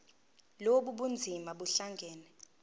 lobu bunzima buhlangane